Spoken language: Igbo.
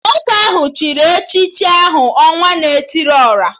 Nwoke ahụ chịrị echichi aha 'Ọnwa na etili ora'